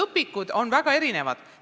Õpikud on tõesti väga erinevad.